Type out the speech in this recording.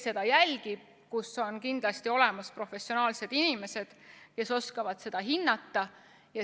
Seal on kindlasti olemas professionaalsed inimesed, kes oskavad seda hinnata.